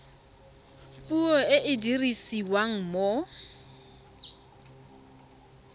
puo e e dirisiwang mo